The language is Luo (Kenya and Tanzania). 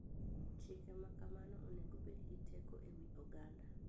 Chike ma kamago onego obed gi teko e wi oganda.